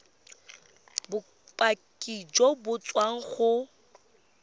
bopaki jo bo tswang go